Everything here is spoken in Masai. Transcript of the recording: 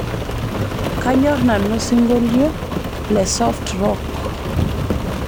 kanyor nanu osingolio le soft rock